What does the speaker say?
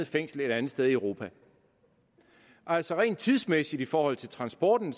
fængsel et andet sted i europa altså rent tidsmæssigt i forhold til transporten